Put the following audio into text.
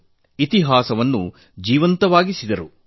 ಅವರು ಇತಿಹಾಸವನ್ನು ಜೀವಂತವಾಗಿರಿಸಿದರು